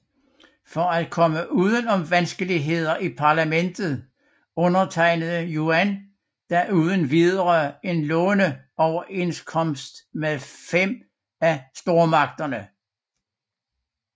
For at komme uden om vanskelighederne i parlamentet undertegnede Yuan da uden videre en låneoverenskomst med 5 af stormagterne